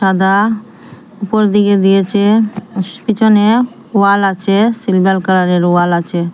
সাদা উপর দিকে দিয়েচে পিছনে ওয়াল আছে সিলভার কালারের ওয়াল আচে।